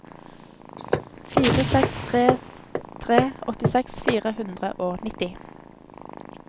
fire seks tre tre åttiseks fire hundre og nitti